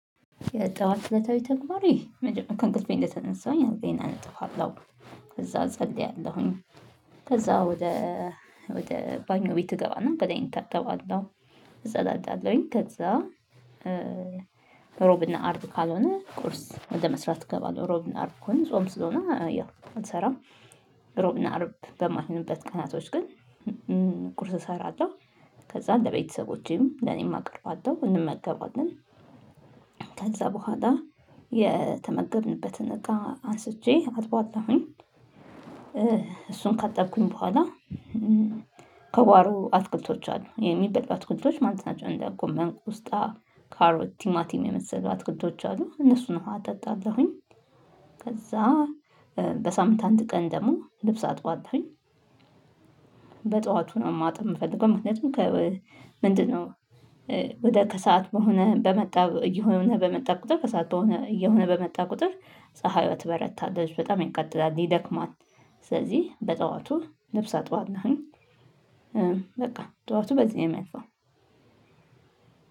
የጠዋት እለት ከእለት ተግባሬ መጀመሪያ ከእንቅልፌ እንደተነሳሁኝ አልጋየን እነጠፋለሁ። ከዛ እጸልያለሁኝ። ከዛ ወደ ወደ ባኞ ቤት እገባና ገላየን እታጠባለሁ። እጸዳዳለሁኝ ከዛ ሮብና አርብ ካልሆነ ቁርስ ወደ መስራት እገባለሁ ሮብና አርብ ከሆነ ጾም ስለሆነ አልሰራም። እሮብ እና አርብ በማይሆንበት ቀናቶች ግን ቁርስ እሰራለው ከዛ ለቤተሰቦቼም ለኔም አቅርባታለሁ እንመገባለን። ከዛ በኋላ የተመገብንበትን እቃ አንስቼ አጥባለሁኝ። እሱን ካጠብኩኝ በኋላ ከጓሮ አትክልቶች አሉ የሚበሉ አትክልቶች ማለት ናቸው እንደ ጎመን ቆስጣ ካሮት ቲማቲም የመሰሉ አትክልቶች አሉ እነሱን ውሃ አጠጣለሁኝ። ከዛ በሳምንት አንድ ቀን ደግሞ ልብስ አጥባለሁኝ። በጧቱ ነው ማጠብ የምፈልገው ምክንያቱም ምንድነው? ወደ ከሰአት በሆነ በመጣ እየሆነ በመጣ ቁጥር ከሰአት በሆነ እየሆነ በመጣ ቁጥር ፀሀዬ ትበረታለች በጣም ያቃጥላል ይደክማት ስለዚህ በጠዋቱ ልብስ አጥባለሁኝ። በቃ ጠዋቱ በዚህ ነው የሚያልፈው።